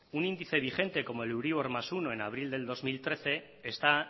un índice vigente como el euribor más uno en abril del dos mil trece está